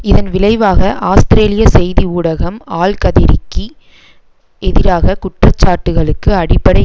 இதன் விளைவாக ஆஸ்திரேலிய செய்தி ஊடகம் ஆல்கதிரிக்கு எதிராக குற்றச்சாட்டுக்களுக்கு அடிப்படை